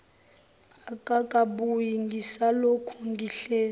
akakabuyi ngisalokhu ngihlezi